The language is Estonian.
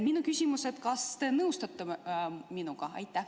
Minu küsimus: kas te nõustute minuga?